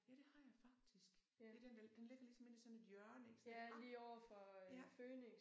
Ja det har jeg faktisk. Det den der den ligger ligesom inde i sådan et hjørne ik sådan et hak ja